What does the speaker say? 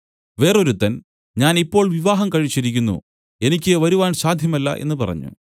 വേറൊരുത്തൻ ഞാൻ ഇപ്പോൾ വിവാഹം കഴിച്ചിരിക്കുന്നു എനിക്ക് വരുവാൻ സാധ്യമല്ല എന്നു പറഞ്ഞു